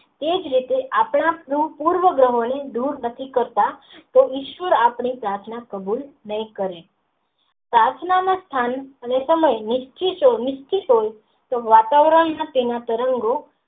તે જ રીતે આપણા પ્રુવ ગ્રહો ને દૂર નથી કરતા તે નિષ્ક્રિય આપણી પ્રાર્થના કબૂલ નહિ કરે પ્રાર્થનાના સ્થાન .